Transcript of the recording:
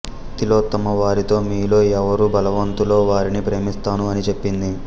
తిలోత్తమ వారితో మీలో ఎవరు బలవంతులో వారిని ప్రేమిస్తాను అని చెప్పింది